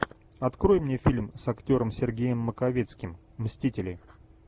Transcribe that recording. открой мне фильм с актером сергеем маковецким мстители